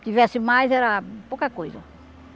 Se tivesse mais, era pouca coisa.